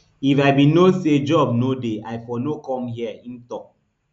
if i bin know say job no dey i for no come hia im tok